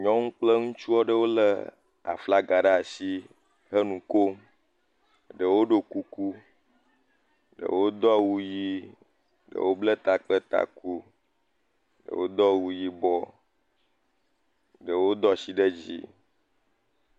Nyɔnuwo kple ŋutsuwo lé aflaga ɖe ashi he nu kom. Ɖewo ɖo kuku, ɖewo do awu yii, ɖewo bla ta kple taku, ɖewo do awu yibɔ. Ɖewo do ashi ɖe dzi.